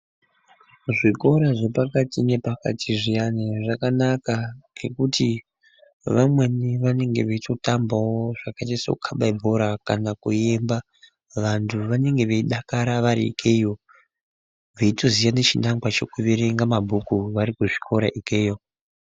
Zvikora zvepakati ngepakati zviyana zvakanaka nekuti vamweni vanenge vechitambavo zvakaita sekukaba bhora kana kuimba. Vantu vanenge veidakara vari ikeyo veitoziyana chinangwa chekuverenge mabhuku varikuzvikora ikeyo.